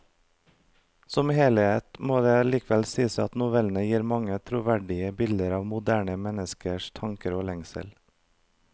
Som helhet må det likevel sies at novellene gir mange troverdige bilder av moderne menneskers tanker og lengsler.